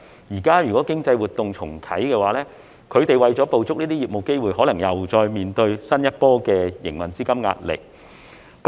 如果現在經濟活動重啟，他們為了捕捉這些業務機會，可能又再面對新一波的營運資金壓力。